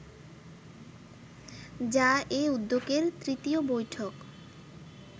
যা এ উদ্যোগের তৃতীয় বৈঠক